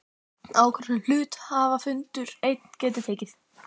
ákvörðun sem hluthafafundur einn getur tekið.